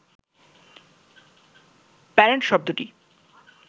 parent শব্দটি